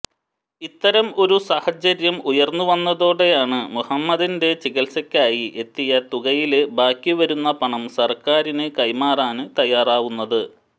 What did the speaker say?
ഇത്തരം ഒരു സാഹചര്യം ഉയര്ന്നുവന്നതോടെയാണ് മുഹമ്മദിന്റെ ചികില്സയ്ക്കായി എത്തിയ തുകയില് ബാക്കിവരുന്ന പണം സര്ക്കാറിന് കൈമാറാന് തയ്യാറാവുന്നത്